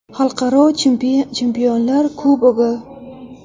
Xalqaro Chempionlar Kubogi.